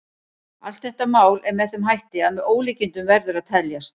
Allt þetta mál er með þeim hætti að með ólíkindum verður að teljast.